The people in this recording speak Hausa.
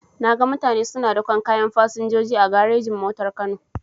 Naga mutane suna daƙon kayan fasinjoji a garejin-motar kano.